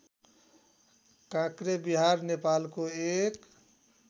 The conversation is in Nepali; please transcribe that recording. काँक्रेविहार नेपालको एक